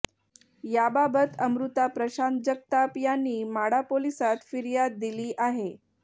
याबाबत अमृता प्रशांत जगताप यांनी माढा पोलिसात फिर्याद दिली आहे